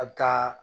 A bɛ taa